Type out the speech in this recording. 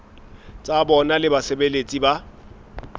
tsa bona le basebeletsi ba